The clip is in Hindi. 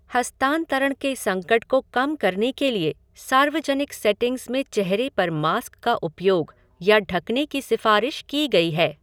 हस्तांतरण के संकट को कम करने के लिए सार्वजनिक सेटिंग्स में चेहरे पर मास्क का उपयोग या ढकने की सिफारिश की गई है।